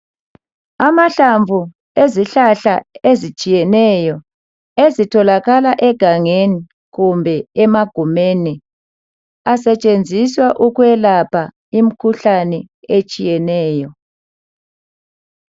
Amahlamvu ezihlahla ezitshiyeneyo ezitholakala egangeni kumbe emagumeni asetshenziswa ukwelapha imikhuhlane etshiyeneyo.